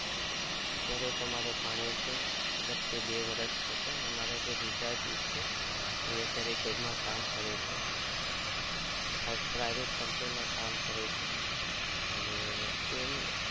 અત્યરે તો મતલબ ભાણિયો છે મારા જીજાજી જે છે એ જોબ માં